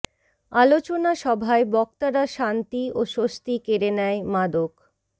আলোচনা সভায় বক্তারা শান্তি ও স্বস্তি কেড়ে নেয় মাদক